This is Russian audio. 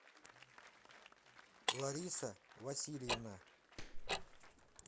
лариса васильевна